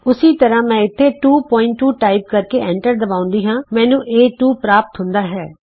ਉਸੀ ਤਰ੍ਹਾਂ ਮੈਂ ਇਥੇ 22 ਟਾਈਪ ਕਰਕੇ ਐਂਟਰ ਦਬਾਉਂਦੀ ਹਾਂ ਮੈਨੂੰ ਏ2 ਪ੍ਰਾਪਤ ਹੁੰਦਾ ਹੈ